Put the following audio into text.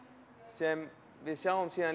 sem við sjáum